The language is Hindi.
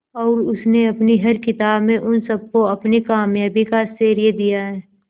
और उसने अपनी हर किताब में उन सबको अपनी कामयाबी का श्रेय दिया है